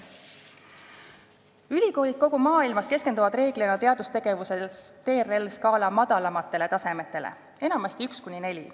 Ülikoolid kogu maailmas keskenduvad teadustegevuses üldiselt TRL-skaala madalamatele tasemetele, enamasti tasemetele 1–4.